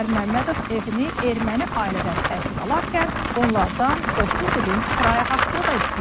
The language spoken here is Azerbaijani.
Azər Məmmədov evini erməni ailədən təhvil alarkən onlardan 30 ilin kirayə haqqını da istəyib.